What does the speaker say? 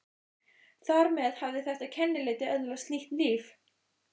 Þar með hafði þetta kennileiti öðlast nýtt líf.